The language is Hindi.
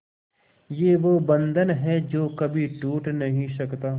ये वो बंधन है जो कभी टूट नही सकता